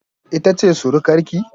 Ita ce surukar ki?